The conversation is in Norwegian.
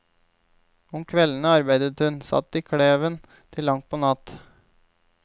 Om kveldene arbeidet hun, satt i kleven til langt på natt.